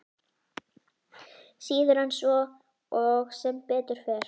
Síður en svo og sem betur fer.